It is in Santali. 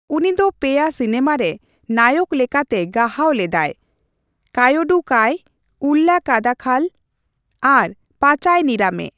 ᱩᱱᱤᱫᱚ ᱯᱮ ᱭᱟ ᱥᱤᱱᱮᱢᱟ ᱨᱮ ᱱᱟᱭᱚᱠ ᱞᱮᱠᱟᱛᱮ ᱜᱟᱦᱟᱣ ᱞᱮᱫᱟᱭ, ᱠᱟᱭᱣᱳᱰᱩ ᱠᱟᱭ, ᱩᱞᱞᱟ ᱠᱟᱫᱟᱛᱷᱟᱞ ᱟᱨ ᱯᱟᱪᱟᱭ ᱱᱤᱨᱟᱢᱮ ᱾